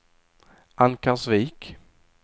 Ankarsvik